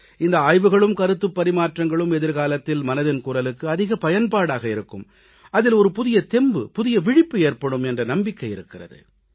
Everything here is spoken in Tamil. இந்த ஆய்வுகளும் கருத்துப் பரிமாற்றங்களும் எதிர்காலத்தில் மனதின் குரலுக்கு அதிக பயன்பாடாக இருக்கும் அதில் புதிய தெம்பு புதிய விழிப்பு ஏற்படும் என்ற நம்பிக்கை இருக்கிறது